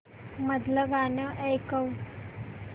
मधलं गाणं ऐकव